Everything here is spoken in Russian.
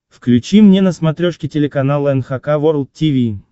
включи мне на смотрешке телеканал эн эйч кей волд ти ви